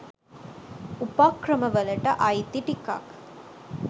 උපක්‍රමවලට අයිති ටිකක්.